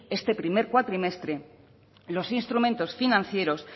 este primer cuatrimestre los instrumentos financieros